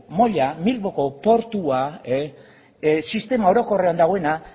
bilboko portua sistema orokorrean dagoena